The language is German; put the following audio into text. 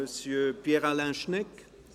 Monsieur Pierre Alain Schnegg.